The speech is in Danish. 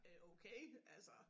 Øh okay altså